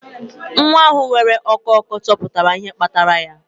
Nwa ahụ nwere ọkụ ọkụ, chọpụta ihe kpatara ya